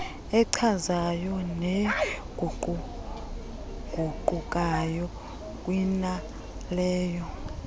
echazayo neguquguqukayo kunaleyo